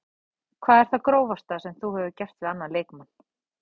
Hvað er það grófasta sem þú hefur gert við annan leikmann?